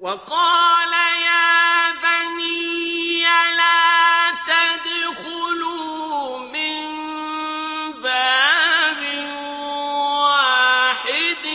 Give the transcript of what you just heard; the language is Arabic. وَقَالَ يَا بَنِيَّ لَا تَدْخُلُوا مِن بَابٍ وَاحِدٍ